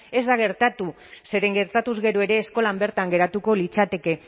ez da gertatu zeren gertatuz gero ere eskolan bertan geratuko litzateke